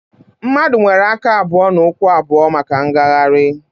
Mmadụ nwere aka abụọ na ụkwụ abụọ maka mgagharị